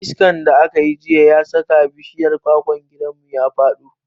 Iskan da aka yi jiya ya saka bishiyar kwakwan gidanmu ya faɗo.